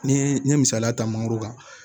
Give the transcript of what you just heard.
Ni n ye misaliya ta mangoro kan